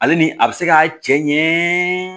Ale ni a bɛ se ka cɛ ɲɛ